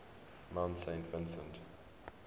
mount saint vincent